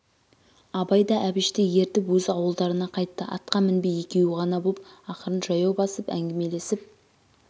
абай да әбішті ертіп өз ауылдарына қайтты атқа мінбей екеу ғана боп ақырын жаяу басып әңгімелесіп